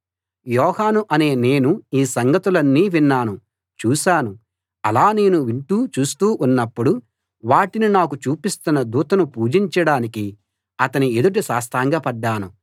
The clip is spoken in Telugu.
యోహాను అనే నేను ఈ సంగతులన్నీ విన్నాను చూశాను అలా నేను వింటూ చూస్తూ ఉన్నప్పుడు వాటిని నాకు చూపిస్తున్న దూతను పూజించడానికి అతని ఎదుట సాష్టాంగపడ్డాను